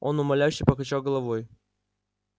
он умоляюще покачал головой